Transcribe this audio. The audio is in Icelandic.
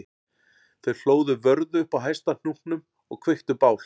Þau hlóðu vörðu upp á hæsta hnúknum og kveiktu bál